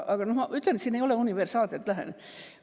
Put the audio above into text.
Aga ma ütlen, et siin ei ole universaalset lähenemist.